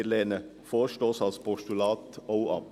Wir lehnen den Vorstoss auch als Postulat ab.